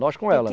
Nós com ela,